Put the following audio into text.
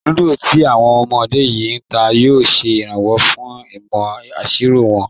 Lúdò tí àwọn ọmọ yìí ń ta yóò ṣe ìrànwọ́ fún ìmọ̀ ìṣirò wọn